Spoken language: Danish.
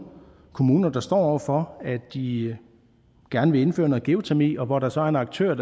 kommuner der står over for at de gerne vil indføre noget geotermi og hvor der så er en aktør